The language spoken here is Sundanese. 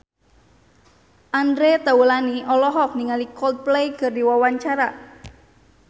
Andre Taulany olohok ningali Coldplay keur diwawancara